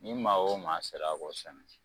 Ni maa o maa sera k'o sɛnɛ